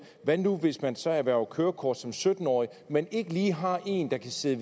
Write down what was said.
hvad nu hvis man så erhverver kørekort som sytten årig men ikke lige har en der kan sidde